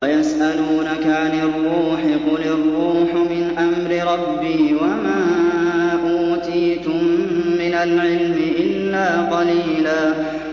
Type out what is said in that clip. وَيَسْأَلُونَكَ عَنِ الرُّوحِ ۖ قُلِ الرُّوحُ مِنْ أَمْرِ رَبِّي وَمَا أُوتِيتُم مِّنَ الْعِلْمِ إِلَّا قَلِيلًا